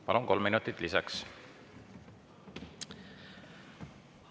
Palun, kolm minutit lisaks!